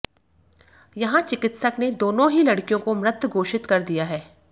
यहां चिकित्सक ने दोनो ही लड़कियों को मृत घोषित कर दिया है